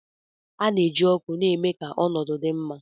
A na-eji ọkụ na-eme ka ọnọdụ dị mma.